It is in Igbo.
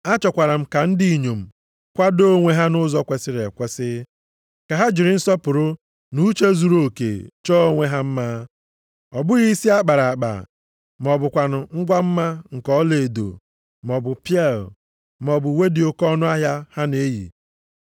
Achọkwara m ka ndị inyom kwadoo onwe ha nʼụzọ kwesiri ekwesi, ka ha jiri nsọpụrụ na uche zuruoke chọọ onwe ha mma. Ọ bụghị isi a kpara akpa, ma ọ bụkwanụ ngwa mma nke ọlaedo maọbụ pieal, maọbụ uwe dị oke ọnụahịa ha na-eyi.